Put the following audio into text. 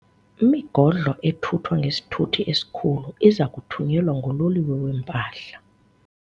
Imigodlo ethuthwa ngesithuthi esikhulu iza kuthunyelwa ngololiwe weempahla.